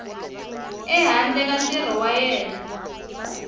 ehandle ka ntirho wa yena